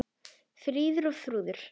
Fríður og Þrúður.